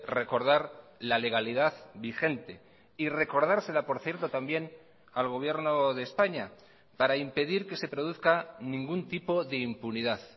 recordar la legalidad vigente y recordársela por cierto también al gobierno de españa para impedir que se produzca ningún tipo de impunidad